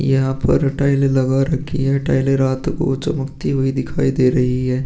यहां पर टाइल लगा रही है। टाइल रात को चमकती हुए दिखाई दे रही ऐं ।